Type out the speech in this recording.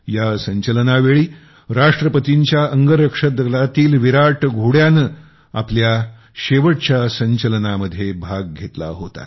या परेडच्या वेळी राष्ट्रपतींच्या अंगरक्षकदलातील विराट घोड्याने आपल्या शेवटच्या परेडमध्ये भाग घेतला होता